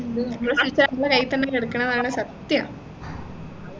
നമ്മളെ future നമ്മളെ കൈയിൽ തന്നെ കിടക്കുന്നതാണ് സത്യം